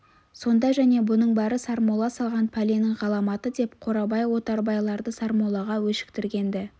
сонда және бұның бәрі сармолла салған пәленің ғаламаты деп қорабай отарбайларды сармоллаға өшіктірген-ді